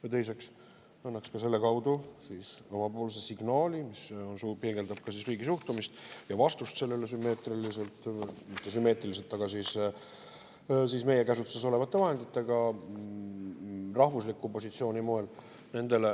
Ja teiseks, et annaks selle kaudu omapoolse signaali, mis peegeldab riigi suhtumist nendesse sabotaažiaktidesse, mis siin hiljuti on aset leidnud, ja vastust nendele sümmeetriliselt – mitte sümmeetriliselt, aga meie käsutuses olevate vahenditega – rahvuslikult positsioonilt.